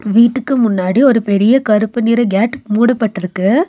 வீட்டுக்கு முன்னாடி ஒரு பெரிய கருப்பு நிற கேட் மூடப்பட்டுருக்கு.